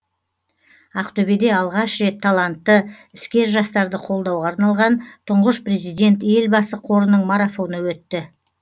ақтөбеде алғаш рет талантты іскер жастарды қолдауға арналған тұңғыш президент елбасы қорының марафоны өтті